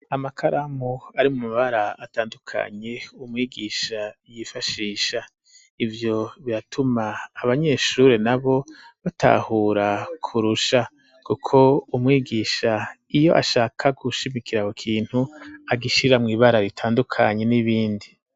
Amakaramu ari mu mabara atandukanye umwigisha yifashisha ivyo biratuma abanyeshuri na bo batahura kurusha kuko umwigisha iyo ashaka gushimikiraho kintu agishira mu ibara ritandukanye n'ibindi.